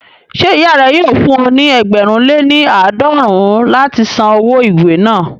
Ṣé ìyá rẹ yóò fún ọ ní ẹgbẹ̀rún lé ní àádọ́rùn-ún láti san owó ìwé náà